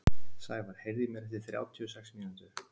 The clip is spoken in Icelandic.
Sævar, heyrðu í mér eftir þrjátíu og sex mínútur.